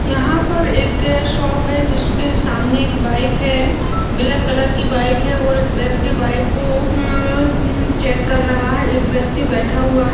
यहाँ पर एक शॉप है जिसके सामने एक बाइक है ब्लैक कलर की बाइक है और एक व्यक्ति बाइक को उम्म-म चेक कर रहा है एक व्यक्ति बैठा हुआ है --